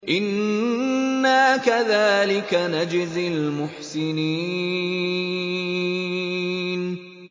إِنَّا كَذَٰلِكَ نَجْزِي الْمُحْسِنِينَ